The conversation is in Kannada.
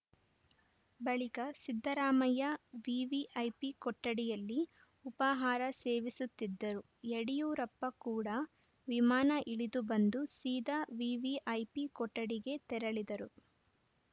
ಬಳಿಕ ಸಿದ್ದರಾಮಯ್ಯ ವಿವಿಐಪಿ ಕೊಠಡಿಯಲ್ಲಿ ಉಪಾಹಾರ ಸೇವಿಸುತ್ತಿದ್ದರು ಯಡಿಯೂರಪ್ಪ ಕೂಡ ವಿಮಾನ ಇಳಿದು ಬಂದು ಸೀದಾ ವಿವಿಐಪಿ ಕೊಠಡಿಗೆ ತೆರಳಿದರು